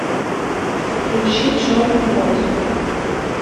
включи черный кот